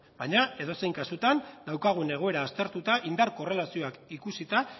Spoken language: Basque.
baina edozein kasutan daukagun egoera aztertuta indar korrelazioak ikusita